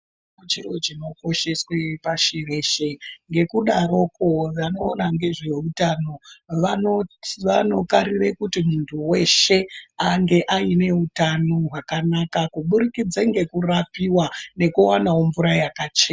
Chiro chinokosheswe pashi reshe ngekudaroko vanoona ngezve utano vanoparire kuti muntu weshe ange aine utano hwakanaka kuburikidza ngekurapiwa nekuwana mvura yakachena.